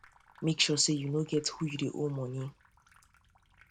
mek sure say yu no get who yu dey owe moni